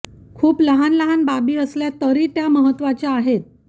खूप लहान लहान बाबी असल्या तरी त्या महत्त्वाच्या आहेत